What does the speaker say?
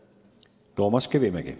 Toomas Kivimägi.